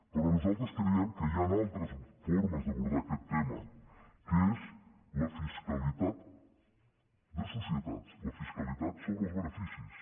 però nosaltres creiem que hi han altres formes d’abordar aquest tema que és la fiscalitat de societats la fiscalitat sobre els beneficis